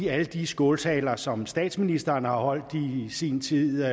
alle de skåltaler som statsministeren har holdt i sin tid